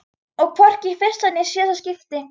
Og hvorki í fyrsta né síðasta skipti.